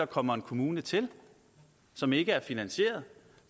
kommer en kommune til som ikke er finansieret